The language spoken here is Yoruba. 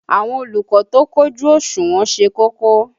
Àwọn olùkọ́ tó kójú òṣùnwọ̀n ṣe kókó.